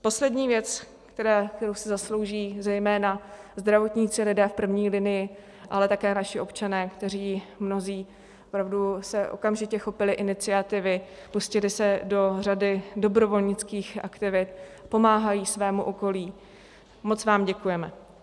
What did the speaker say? Poslední věc, kterou si zaslouží zejména zdravotníci, lidé v první linii, ale také naši občané, kteří mnozí opravdu se okamžitě chopili iniciativy, pustili se do řady dobrovolnických aktivit, pomáhají svému okolí - moc vám děkujeme!